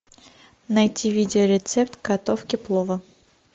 найти видео рецепт готовки плова